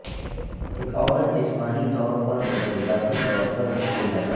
ایک عورت جسمانی طور پر اور جذباتی طور پر مشکل ہے